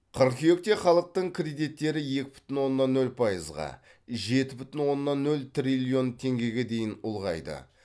қыркүйекте халықтың кредиттері екі бүтін оннан нөл пайызға жеті бүтін оннан нөл триллион теңгеге дейін ұлғайды